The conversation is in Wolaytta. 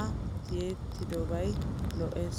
a tiyettobayikka lo'es.